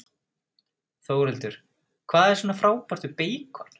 Þórhildur: Hvað er svona frábært við beikon?